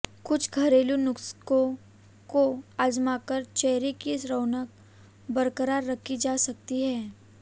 कुछ घरेलु नुस्खों को आज़माकर चेहरे की रौनक बरकरार रखी जा सकती है